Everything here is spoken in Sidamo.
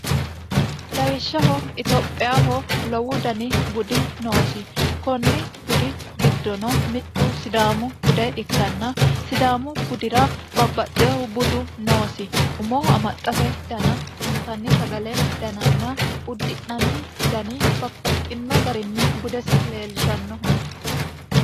lawishshaho itophiyaho lowu dani budi noosi konni budi giddono mittu sidaamu bude ikkanna sidaamu budira babbaxxeehu budu noosi umoho amaxxate dana intanni sagale dananna uddi'nanni dani babbaxxino garinni budesi leelishannoho